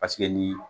Paseke ni